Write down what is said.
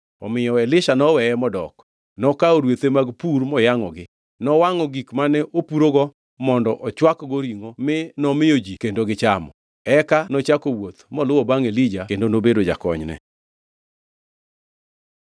Omiyo Elisha noweye modok. Nokawo rwethe mag pur moyangʼogi. Nowangʼo gik mane opurogo mondo ochwakgo ringʼo mi nomiyo ji kendo gichamo. Eka nochako wuoth moluwo bangʼ Elija kendo nobedo jakonyne.